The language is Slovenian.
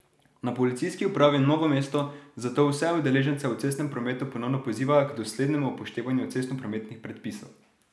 Na Policijski upravi Novo mesto zato vse udeležence v cestnem prometu ponovno pozivajo k doslednemu upoštevanju cestnoprometnih predpisov.